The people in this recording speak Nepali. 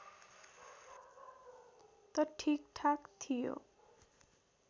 त ठिक ठाक थियो